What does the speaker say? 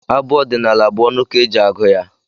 Abụ ọdịnala bụ ọnụ ka eji agụ ya.